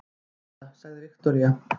Ég hlusta, sagði Viktoría.